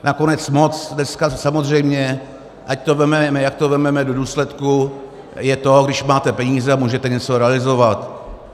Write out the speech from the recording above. Nakonec moc dneska samozřejmě, ať to vezmeme, jak to vezmeme do důsledku, je to, když máte peníze a můžete něco realizovat.